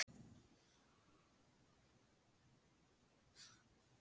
Þú verður alltaf með okkur.